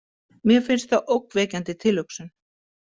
Mér finnst það ógnvekjandi tilhugsun.